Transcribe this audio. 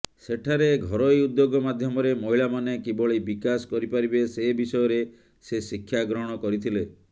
ସେଠାରେ ଘରୋଇ ଉଦ୍ୟୋଗ ମାଧ୍ୟମରେ ମହିଳାମାନେ କିଭଳି ବିକାଶ କରିପାରିବେ ସେ ବିଷୟରେ ସେ ଶିକ୍ଷା ଗ୍ରହଣ କରିଥିଲେ